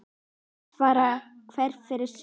Því svarar hver fyrir sig.